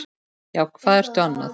Já, hvað ertu annað?